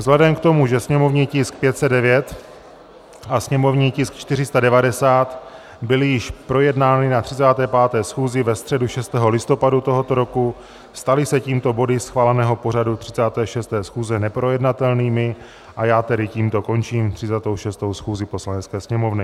Vzhledem k tomu, že sněmovní tisk 509 a sněmovní tisk 490 byly již projednány na 35. schůzi ve středu 6. listopadu tohoto roku, staly se tímto body schváleného pořadu 36. schůze neprojednatelnými, a já tedy tímto končím 36. schůzi Poslanecké sněmovny.